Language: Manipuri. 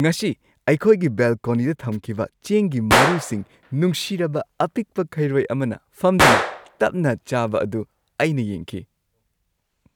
ꯉꯁꯤ ꯑꯩꯈꯣꯏꯒꯤ ꯕꯦꯜꯀꯣꯅꯤꯗ ꯊꯝꯈꯤꯕ ꯆꯦꯡꯒꯤ ꯃꯔꯨꯁꯤꯡ ꯅꯨꯡꯁꯤꯔꯕ ꯑꯄꯤꯛꯄ ꯈꯩꯔꯣꯏ ꯑꯃꯅ ꯐꯝꯗꯨꯅ ꯇꯞꯅ ꯆꯥꯕ ꯑꯗꯨ ꯑꯩꯅ ꯌꯦꯡꯈꯤ꯫